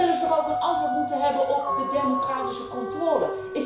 Dan zullen ze toch ook een antwoord moeten hebben op de democratische controle?